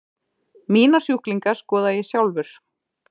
Mína sjúklinga skoða ég sjálfur.